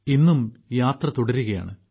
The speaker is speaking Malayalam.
ഇന്നും യാത്ര തുടരുകയാണ്